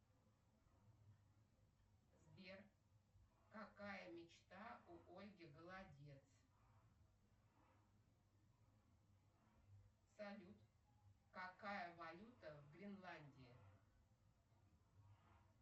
сбер какая мечта у ольги голодец салют какая валюта в гренландии